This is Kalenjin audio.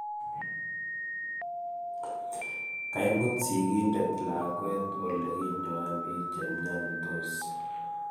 Kaimut sigindet lakwet olekinyoen biik chepnyansot